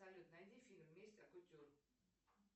салют найди фильм месть от кутюр